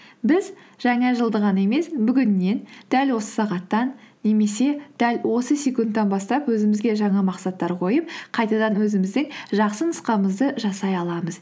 біз жаңа жылды ғана емес бүгіннен дәл осы сағаттан немесе дәл осы секундтан бастап өзімізге жаңа мақсаттар қойып қайтадан өзіміздің жақсы нұсқамызды жасай аламыз